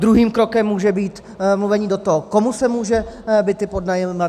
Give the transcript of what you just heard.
Druhým krokem může být mluvení do toho, komu se může byt pronajímat.